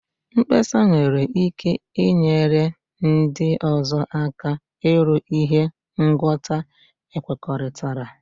Mkpesa nwere ike inyere ndị ọzọ aka iru ihe ngwọta ekwekọrịtara.